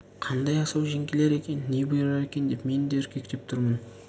қандай асау жеңгелер екен не бұйырар екен деп мен де үркектеп тұрмын